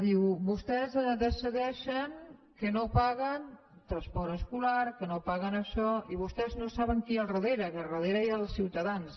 diu vostès decideixen que no paguen transport escolar que no paguen això i vostès no saben qui hi ha al darrere que al darrere hi ha els ciutadans